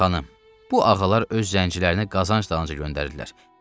Xanım, bu ağalar öz zəncilərini qazanc dalınca göndərdilər.